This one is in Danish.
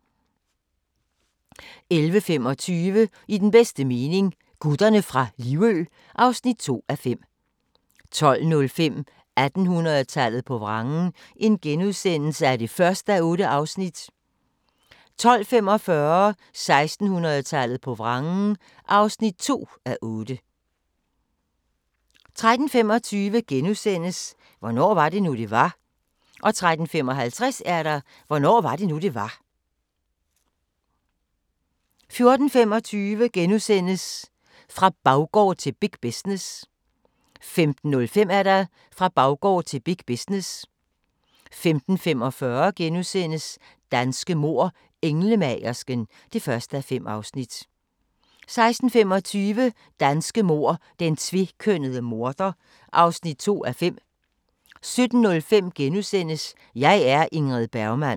11:25: I den bedste mening – Gutterne fra Livø (2:5) 12:05: 1800-tallet på vrangen (1:8)* 12:45: 1800-tallet på vrangen (2:8) 13:25: Hvornår var det nu det var * 13:55: Hvornår var det nu, det var? 14:25: Fra baggård til big business * 15:05: Fra baggård til big business 15:45: Danske mord: Englemagersken (1:5)* 16:25: Danske mord: Den tvekønnede morder (2:5) 17:05: Jeg er Ingrid Bergman *